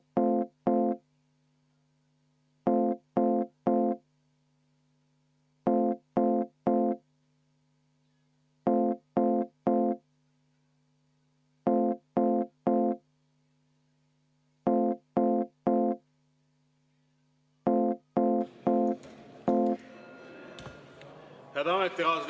Head ametikaaslased!